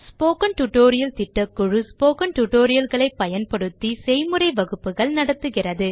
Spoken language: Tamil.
Spoken டியூட்டோரியல் திட்டக்குழு ஸ்போக்கன் டியூட்டோரியல் களை பயன்படுத்தி செய்முறை வகுப்புகள் நடத்துகிறது